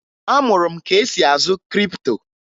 Amụrụ m ka esi azụ kripto